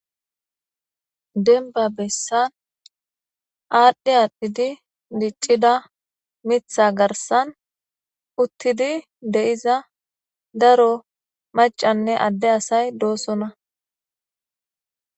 Deniba besan adhi adhidi dicida mitha garisan utidi deiza daro macane adde asay dosona.